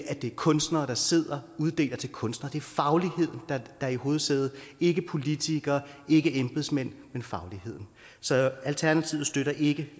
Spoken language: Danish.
at det er kunstnere der sidder og uddeler til kunstnere det er fagligheden der er i højsædet ikke politikere ikke embedsmænd men fagligheden så alternativet støtter ikke